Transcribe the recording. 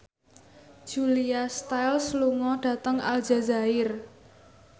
Julia Stiles lunga dhateng Aljazair